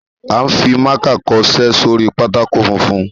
A ń fi mákà kọṣẹ́ sórí pátákó funfun.